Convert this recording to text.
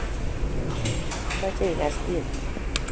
amache ikas tieni.